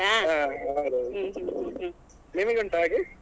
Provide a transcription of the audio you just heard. ಹಾ ಹೌದೌದು ನಿಮಿಗೆ ಉಂಟಾ ಹಾಗೆ?